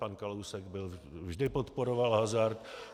Pan Kalousek vždy podporoval hazard.